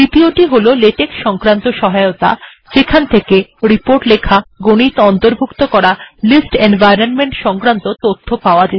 দ্বিতীয়টি হল লেটেক সংক্রান্ত সহায়তা যেমন কিভাবে রিপোর্ট লিখতে হবে কিভাবে গণিত অন্তর্ভুক্ত করতে হবে কিভাবে তালিকার এনভয়রনমেন্ট ব্যবহার করতে হবে ইত্যাদি